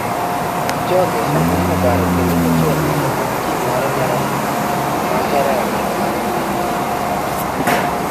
Jipchoge ne obaro kendo ocho neno tim mare mar adhula ma ohero e alap mar gi manyien.